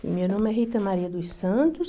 Meu nome é Rita Maria dos Santos